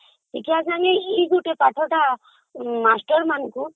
ଶିକ୍ଷା ସଂଗେ ଏଇ ପଥଟା master ମାନଙ୍କୁ